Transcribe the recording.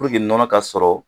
Puruke nɔnɔ ka sɔrɔ